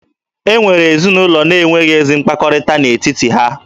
E nwere ezinụlọ na-enweghi ezi mkpakọrịta n'etiti ha